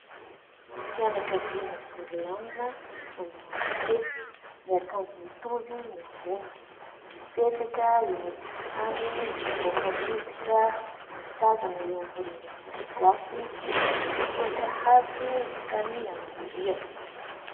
Fianakaviana vory lanona manomana fety, miakanjo mitovy ny ambony. Mipetraka eny an-tokotany mivoaka miditra mitazana eo ambonin'ny trano gasy, misy tohatra hazo mankany amin'ny rihana.